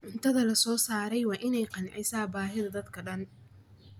Cuntada la soo saaray waa in ay qancisaa baahida dadka oo dhan.